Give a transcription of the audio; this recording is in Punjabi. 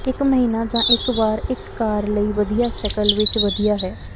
ਇੱਕ ਮਹੀਨਾ ਜਾਂ ਇੱਕ ਵਾਰ ਇੱਕ ਕਾਰ ਲਈ ਵਧੀਆ ਸ਼ਕਲ ਵਿੱਚ ਵਧੀਆ ਹੈ